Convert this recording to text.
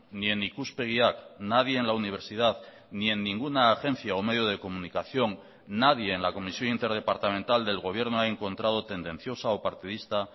ni en ikuspegiak nadie en la universidad ni en ninguna agencia o medio de comunicación nadie en la comisión interdepartamental del gobierno ha encontrado tendenciosa o partidista